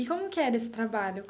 E como que era esse trabalho?